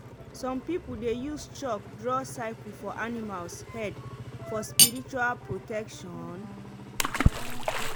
some people dey use chalk draw circle for animals head for spiritual protection.